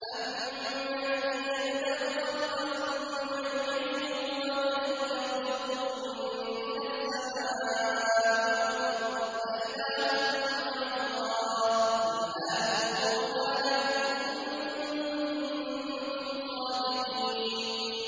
أَمَّن يَبْدَأُ الْخَلْقَ ثُمَّ يُعِيدُهُ وَمَن يَرْزُقُكُم مِّنَ السَّمَاءِ وَالْأَرْضِ ۗ أَإِلَٰهٌ مَّعَ اللَّهِ ۚ قُلْ هَاتُوا بُرْهَانَكُمْ إِن كُنتُمْ صَادِقِينَ